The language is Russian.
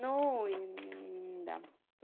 ну и да